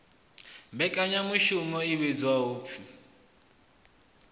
mmbekanyamushumo i vhidzwaho u p